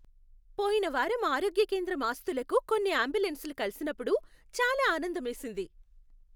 పోయిన వారం ఆరోగ్య కేంద్రం ఆస్తులకు కొన్ని అంబులెన్సులు కలిసినప్పుడు చాలా ఆనందమేసింది.